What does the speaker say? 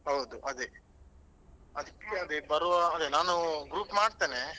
ಹೌದು ಅದೇ ಅದಕ್ಕೆ ಅದೇ ಬರುವಾ ಅದೇ ನಾನ್ group ಮಾಡ್ತೇನೆ.